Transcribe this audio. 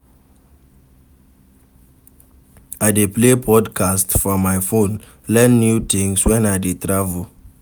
I dey play podcasts for my phone, learn new tins wen I dey travel.